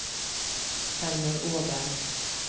Helmer Åberg